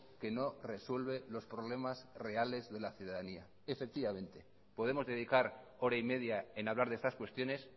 que no resuelve los problemas reales de la ciudadanía efectivamente podemos dedicar hora y media en hablar de estas cuestiones